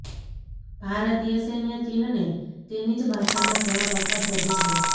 ભારતીય સૈન્ય ચીનને તેની જ ભાષામાં જવાબ આપવા સજ્જ છે